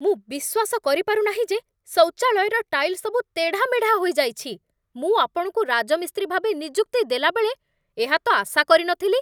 ମୁଁ ବିଶ୍ୱାସ କରିପାରୁ ନାହିଁ ଯେ ଶୌଚାଳୟର ଟାଇଲ୍ ସବୁ ତେଢ଼ାମେଢ଼ା ହୋଇଯାଇଛି! ମୁଁ ଆପଣଙ୍କୁ ରାଜମିସ୍ତ୍ରୀ ଭାବେ ନିଯୁକ୍ତି ଦେଲାବେଳେ ଏହା ତ ଆଶା କରିନଥିଲି।